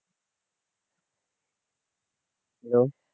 hello